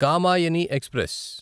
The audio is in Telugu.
కామాయని ఎక్స్ప్రెస్